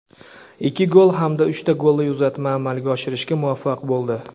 ikki gol hamda uchta golli uzatma amalga oshirishga muvaffaq bo‘ldi.